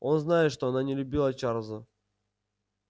он знает что она не любила чарлза